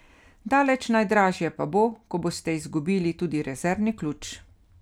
Daleč najdražje pa bo, ko boste izgubili tudi rezervni ključ.